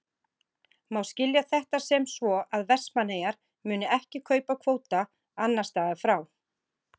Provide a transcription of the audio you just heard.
Má skilja þetta sem svo að Vestmannaeyjar muni ekki kaupa kvóta annars staðar frá?